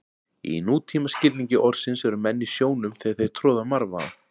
Í nútíma skilningi orðsins eru menn í sjónum þegar þeir troða marvaða.